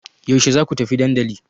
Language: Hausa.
Yaushe za ku tafi dandali?